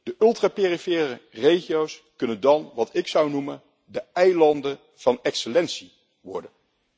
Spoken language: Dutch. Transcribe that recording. De ultra perifere regio's kunnen dan wat ik zou noemen de eilanden van excellentie worden.